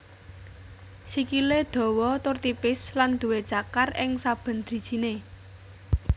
Sikilè dawa tur tipis lan duwé cakar ing saben drijinè